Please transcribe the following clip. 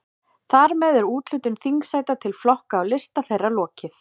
Þar með er úthlutun þingsæta til flokka og lista þeirra lokið.